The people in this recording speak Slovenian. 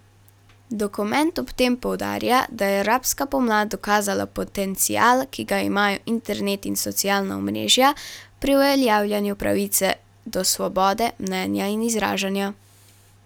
Dokument ob tem poudarja, da je arabska pomlad dokazala potencial, ki ga imajo internet in socialna omrežja pri uveljavljanju pravice do svobode mnenja in izražanja.